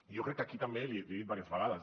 jo crec que aquí també i l’hi he dit diverses vegades